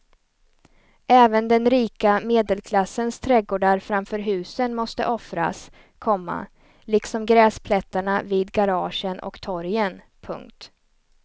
Även den rika medelklassens trädgårdar framför husen måste offras, komma liksom gräsplättarna vid garagen och torgen. punkt